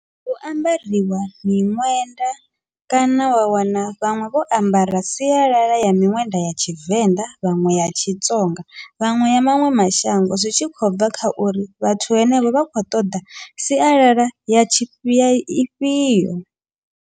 Hu ambariwa miṅwenda kana wa wana vhaṅwe vho ambara sialala ya miṅwenda ya Tshivenḓa, vhaṅwe yatshi Tsonga vhaṅwe ya maṅwe mashango zwi tshi khou bva kha uri vhathu henevho vha khou ṱoḓa sialala ya tshifhi ifhio.